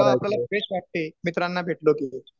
थोडा आपल्याला फ्रेश वाटते मित्रांना भेटलो की